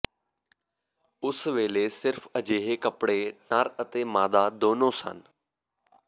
ਉਸ ਵੇਲੇ ਸਿਰਫ ਅਜਿਹੇ ਕੱਪੜੇ ਨਰ ਅਤੇ ਮਾਦਾ ਦੋਨੋ ਸਨ